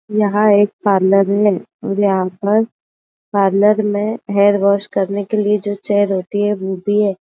यहाँ एक पार्लर है और यहाँ पर पार्लर में हेयर वोश करने के लिए जो चेअर होती है वो भी है।